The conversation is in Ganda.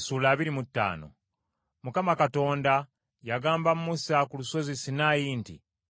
Mukama Katonda yagamba Musa ku lusozi Sinaayi nti,